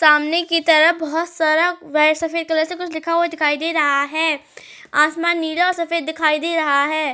सामने की तरफ बहोत सारा वाइट सफ़ेद कलर से कुछ लिखा हुआ दिखाई दे रहा है। आसमान नीला और सफ़ेद दिखाई दे रहा है।